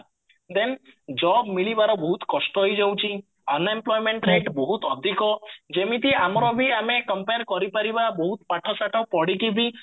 then job ମିଳିବାର ବହୁତ କଷ୍ଟ ହେଇଯାଉଚି unemployment rate ବହୁତ ଅଧିକ ଯେମିତି ବି ଆମର ବି ଆମେ compare କରିପାରିବା ବହୁତ ପାଠ ସାଠ ପଢିକି ବି